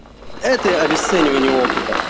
это обесценивание опыта